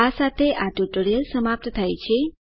આ સાથે આ ટ્યુટોરીયલ સમાપ્ત થાય છે